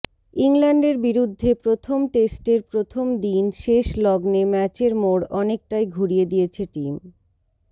ইংল্যান্ডের বিরুদ্ধে প্রথম টেস্টের প্রথম দিন শেষ লগ্নে ম্যাচের মোড় অনেকটাই ঘুড়িয়ে দিয়েছে টিম